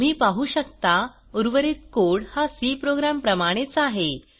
तुम्ही पाहु शकता उर्वरित कोड हा सी प्रोग्राम प्रमाणेच आहे